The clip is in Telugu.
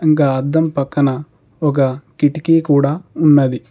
ఇంకా అద్దం పక్కన ఒక కిటికీ కూడా ఉన్నది.